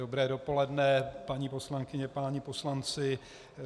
Dobré dopoledne, paní poslankyně, páni poslanci.